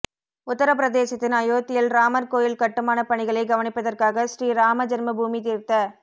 உத்தர பிரதேசத்தின் அயோத்தியில் ராமர் கோயில் கட்டுமான பணிகளை கவனிப்பதற்காக ஸ்ரீ ராமஜென்மபூமி தீர்த்த